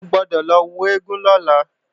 O gbọ́dọ̀ lọ wo eégún lọ́la!